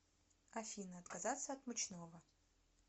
афина отказаться от мучного